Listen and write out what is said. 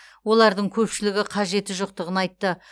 олардың көпшілігі қажеті жоқтығын айтты